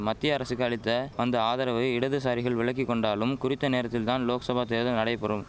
மத்திய அரசுக்கு அளித்த வந்த ஆதரவை இடதுசாரிகள் விலக்கி கொண்டாலும் குறித்த நேரத்தில் தான் லோக்சபா தேர்தல் நடைபெறும்